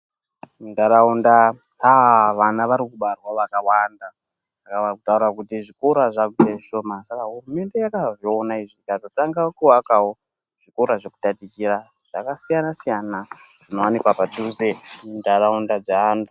Muntaraunda vana varikubarwa vakawanda kutaura kuti zvikora zvaakuite zvishoma. Saka hurumende yakazviona ikatangawo kuaka zvikora zvekutatichira zvakasiyana siyana zvinowanikwa zvinowanikwa padhuze muntaraunda dzevantu.